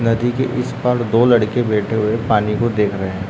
नदी के उसपार दो लड़के बैठें हैं पानी को देख रहें हैं।